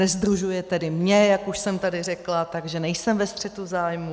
Nesdružuje tedy mě, jak už jsem tady řekla, takže nejsem ve střetu zájmů.